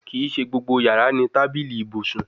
Kii ṣe gbogbo yara ni tabili ibusun